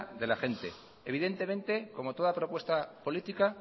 de la gente evidentemente como toda propuesta política